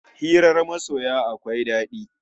Hirar masoya akwai dadi